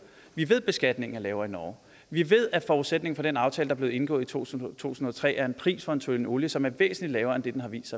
vi ved at beskatningen er lavere i norge vi ved at forudsætningen for den aftale der blev indgået i to tusind og tre er en pris for en tønde olie som er væsentlig lavere end det den har vist